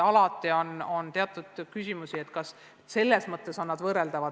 Alati on olnud küsimusi, et kas eksamid on ülesande püstituse mõttes võrreldavad.